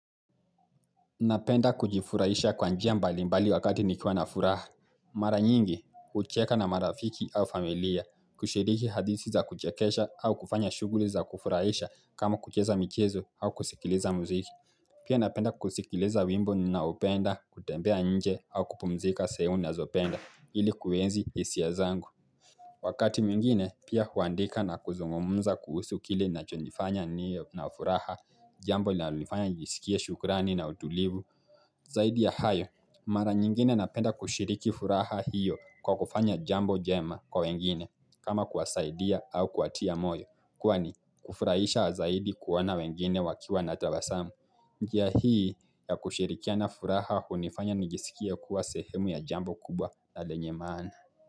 Napenda kujifurahisha kwa njia mbalimbali wakati nikwa na furaha. Mara nyingi, hucheka na marafiki au familia, kushiriki hadithi za kuchekesha au kufanya shughuli za kufurahisha kama kucheza michezo au kusikiliza muziki. Pia napenda kusikiliza wimbo ninaopenda, kutembea nje au kupumzika sehemu ninazopenda ili kuenzi hisia zangu. Wakati mwingine pia huandika na kuzungumza kuhusu kile inachonifanya niwe na furaha jambo linalonifanya njisikie shukrani na utulivu. Zaidi ya hayo mara nyingine napenda kushiriki furaha hiyo kwa kufanya jambo jema kwa wengine kama kuwasaidia au kuwatia moyo kuwa ni kufurahisha zaidi kuona wengine wakiwa na tabasamu. Njia hii ya kushirikiana furaha hunifanya njisikie kuwa sehemu ya jambo kubwa na lenye maana.